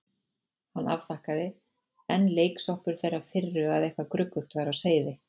Hann afþakkaði, enn leiksoppur þeirrar firru að eitthvað gruggugt væri á seyði.